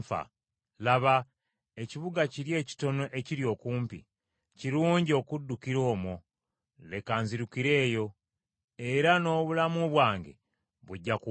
Laba, ekibuga kiri ekitono ekiri okumpi, kirungi okuddukira omwo. Leka nzirukire eyo. Era n’obulamu bwange bujja kuwona!”